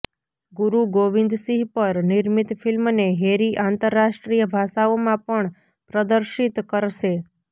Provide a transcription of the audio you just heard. ગુરુ ગોવિંદ સિંહ પર નિર્મિત ફિલ્મને હૅરી આંતરરાષ્ટ્રીય ભાષાઓમાં પણ પ્રદર્શિત કરશે